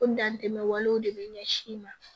O dantɛmɛ walew de bɛ ɲɛsin i ma